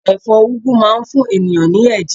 Èfó ugwu máa n fún ènìyãn ní èjè